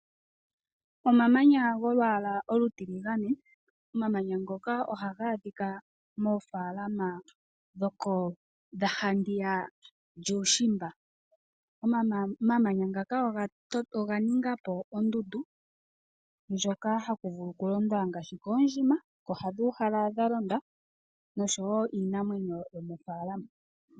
Omamanya golwaala olutiligane . Omamanya ngoka ohaga adhika moofaalama dha handiya yuushimba. Omamanya ngaka oga ningapo ondundu ndjoka haku vulu okulondwa ngaashi koondjima noshowo kiinamwenyo yomofaalama.